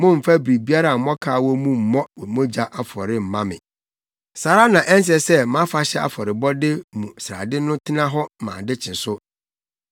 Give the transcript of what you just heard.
“Mommfa biribiara a mmɔkaw wɔ mu mmɔ mogya afɔre mma me. “Saa ara na ɛnsɛ sɛ mʼafahyɛ afɔrebɔde mu srade no tena hɔ ma ade kye so.